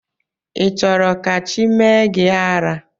Ị chọrọ ka chi mee gị ara?